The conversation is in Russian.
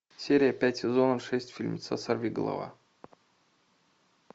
серия пять сезона шесть фильмеца сорвиголова